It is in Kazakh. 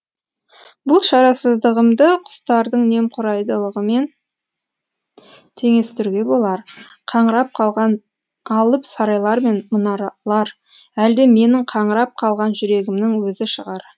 бұл шарасыздығымды құстардың немқұрайдылығымен теңестіруге болар қаңырап қалған алып сарайлар мен мұнаралар әлде менің қаңырап қалған жүрегімнің өзі шығар